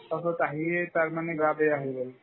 তাৰপাছত আহিয়ে তাৰ মানে গা বেয়া হৈ গ'ল